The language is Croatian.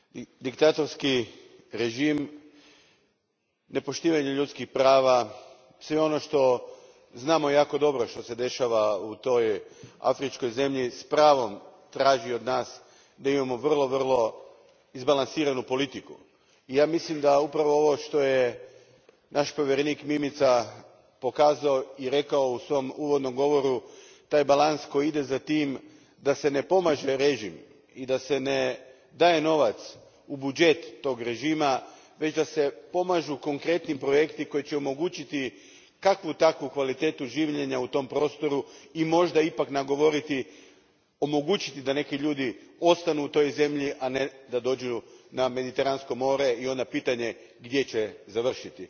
Gospodine predsjedniče, netko je jako dobro usporedio i rekao da je Eritreja Sjeverna Koreja Afrike. Diktatorski režim, nepoštivanje ljudskih prava, sve ono što znamo jako dobro da se dešava u toj afričkoj zemlji, s pravom traži od nas da imamo vrlo izbalansiranu politiku. Ja mislim da upravo ovo što je naš povjerenik Mimica pokazao i rekao u svom uvodnom govoru, taj balans koji ide za tim da se ne pomaže režim i da se ne daje novac u budžet tog režima, već da se pomažu konkretni projekti koji će omogućiti kakvu takvu kvalitetu življenja u tom prostoru i možda ipak omogućiti da neki ljudi ostanu u toj zemlji, a ne da dođu na Mediteransko more i onda je pitanje gdje će završiti.